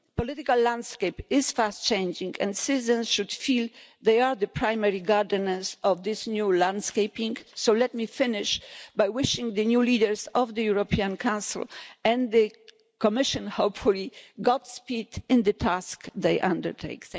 The political landscape is fast changing and citizens should feel they are the primary gardeners of this new landscaping, so let me finish by wishing the new leaders of the European Council and the Commission, hopefully, God speed in the task they undertake.